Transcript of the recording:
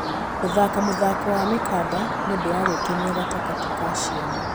Gũthaka mũthako wa mĩkanda nĩ ũndũ wa gwĩkenia gatagatĩ ka ciana.